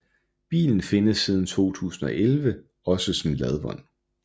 Bilen findes siden 2011 også som ladvogn